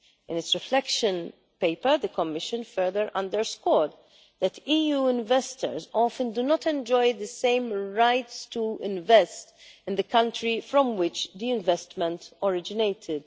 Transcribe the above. In its reflection paper the Commission further underscored that EU investors often do not enjoy the same rights to invest in the country from which the investment originated.